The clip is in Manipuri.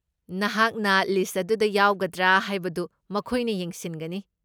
ꯅꯍꯥꯛꯅ ꯂꯤꯁꯠ ꯑꯗꯨꯗ ꯌꯥꯎꯒꯗ꯭ꯔꯥ ꯍꯥꯏꯕꯗꯨ ꯃꯈꯣꯏꯅ ꯌꯦꯡꯁꯤꯟꯒꯅꯤ ꯫